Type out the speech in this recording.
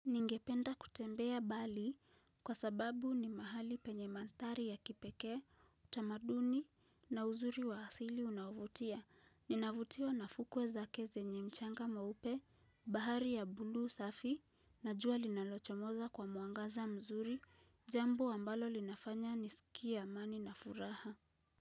Ningependa kutembea bali kwa sababu ni mahali penye manthari ya kipekee, utamaduni na uzuri wa asili unaovutia. Ninavutiwa na fukwe zake zenye mchanga mweupe, bahari ya buluu safi, na jua linalochomoza kwa mwangaza mzuri, jambo ambalo linafanya nisikie amani na furaha.